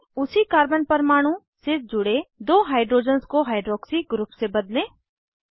उसी कार्बन परमाणु से जुड़े दो हाइड्रोजन्स को हाइड्रॉक्सी ग्रुप से बदलें